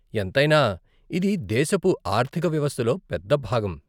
ఎంతైనా ఇది దేశపు ఆర్థిక వ్యవస్థలో పెద్ద భాగం.